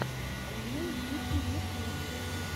лил дики ютюб